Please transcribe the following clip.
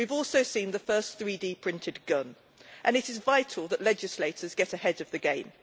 We have also seen the first 3D printed gun, and it is vital that legislators get ahead of the game.